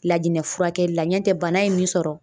Lajinɛ furakɛli la ɲɔntɛ bana ye min sɔrɔ